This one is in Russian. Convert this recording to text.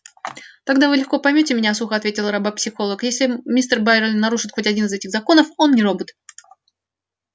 тогда вы легко поймёте меня сухо ответила робопсихолог если мистер байрон нарушит хоть один из этих законов он не робот